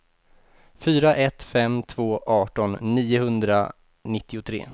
fyra ett fem två arton niohundranittiotre